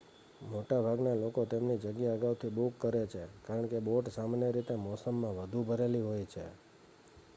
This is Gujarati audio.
મોટાભાગના લોકો તેમની જગ્યા અગાઉથી બુક કરે છે કારણ કે બોટ સામાન્ય રીતે આ મોસમમાં વધુ ભરેલી હોય છે